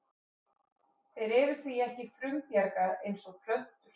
Þeir eru því ekki frumbjarga eins og plöntur.